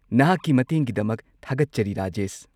ꯅꯍꯥꯛꯀꯤ ꯃꯇꯦꯡꯒꯤꯗꯃꯛ ꯊꯥꯒꯠꯆꯔꯤ, ꯔꯥꯖꯦꯁ꯫